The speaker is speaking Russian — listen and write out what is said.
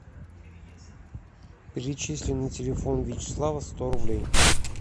перечисли на телефон вячеслава сто рублей